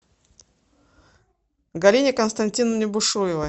галине константиновне бушуевой